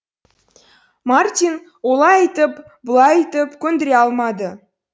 мартин олай айтып бұлай айтып көндіре алмады